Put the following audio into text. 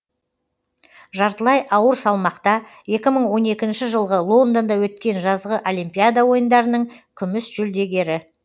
жартылай ауыр салмақта екі мың он екінші жылғы лондонда өткен жазғы олимпиада ойындарының күміс жүлдегері